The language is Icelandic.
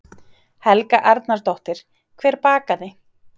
Helga Arnardóttir: Hver bakaði?